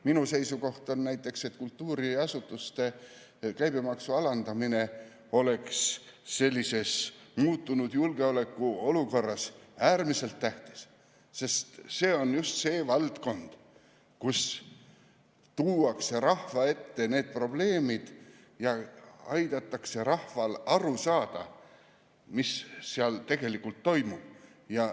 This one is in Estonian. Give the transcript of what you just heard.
Minu seisukoht on, et kultuuriasutuste käibemaksu alandamine oleks sellises muutunud julgeolekuolukorras äärmiselt tähtis, sest see on just see valdkond, kus tuuakse rahva ette need probleemid ja aidatakse rahval aru saada, mis tegelikult toimub.